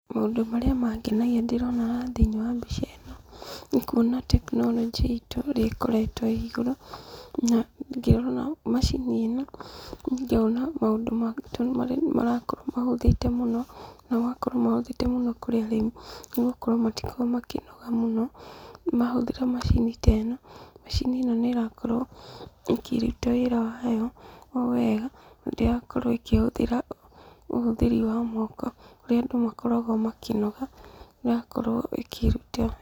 Maũndũ marĩa mangenagia ndĩrona haha thĩinĩ wa mbica ĩno, nĩ kuona atĩ teknoronjĩ itũ ũrĩa ĩkoretwo ĩ igũrũ. Na ngĩrora macini ĩno ngona maũndũ marakorwo mahũthĩte mũno. Na magakorwo mahũthĩte mũno kũrĩ arĩmi, nĩgũkorwo matikoragwo makĩnoga mũno, mahũthĩra macini teno. Macini ĩno nĩrakorwo ĩkĩruta wĩra wayo o wega na ndĩrakorwo ĩkĩhũthĩra ũhũthĩri wa moko, kũrĩa andũ makoragwo makĩnoga na akorwo ĩkĩruta.